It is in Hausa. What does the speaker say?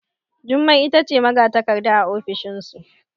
Jummai ita ce magatakarda a ofishinsu